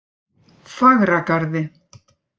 Fagragarði